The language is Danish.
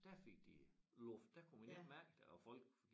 Der fik de luft der kunne man ikke mærke det og folk